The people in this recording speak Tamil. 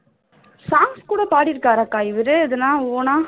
songs கூட பாடி இருக்காரா அக்கா எதனாவது own ஆ?